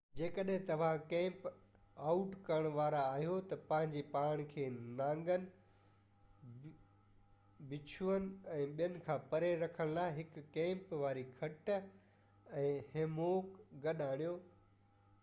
جيڪڏهن توهان camp out ڪرڻ وارا آهيو ته پنهنجو پاڻ کي نانگن بڇوئن ۽ ٻين کان پري رکڻ لاءِ هڪ ڪيمپ واري کٽ يا هيموڪ گڏ آڻيو